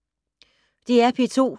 DR P2